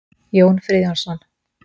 Jón Friðjónsson.